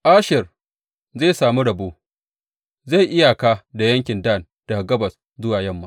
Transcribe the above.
Asher zai sami rabo; zai yi iyaka da yankin Dan daga gabas zuwa yamma.